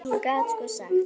En hún gat sko sagt.